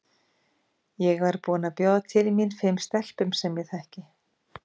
Ég var búin að bjóða til mín fimm stelpum sem ég þekki.